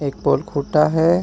एक है.